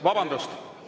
Vabandust!